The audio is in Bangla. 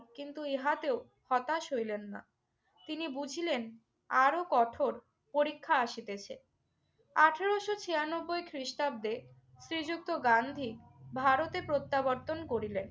কিন্তু ইহাতেও হতাশ হইলেন না। তিনি বুঝিলেন আরো কঠোর পরীক্ষা আসিতেছে। আঠারোশো ছিয়ানব্বই খ্রিস্টাব্দে শ্রীযুক্ত গান্ধী ভারতে প্রত্যাবর্তন করিলেন।